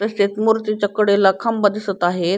तसेच मूर्तीचा कडेला खांब दिसत आहेत.